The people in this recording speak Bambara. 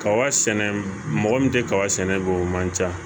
Kaba sɛnɛ mɔgɔ min tɛ kaba sɛnɛ bi o man ca